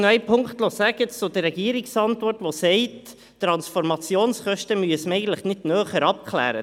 Die Regierung sagt in ihrer Antwort, die Transformationskosten müssten nicht näher abgeklärt werden.